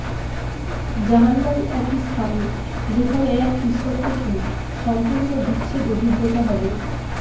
জাহান্নাম একটি স্থান যেখানে এক ঈশ্বর থেকে সম্পূর্ণ বিচ্ছেদ অভিজ্ঞতা হবে